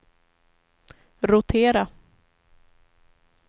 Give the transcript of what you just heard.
rotera